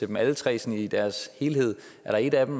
dem alle tre sådan i deres helhed er der et af dem